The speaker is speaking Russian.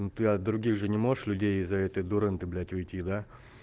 ну ты от других же не можешь людей из-за этой дурынды блять уйти да